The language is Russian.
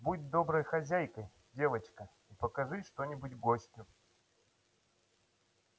будь доброй хозяйкой девочка и покажи что нибудь гостю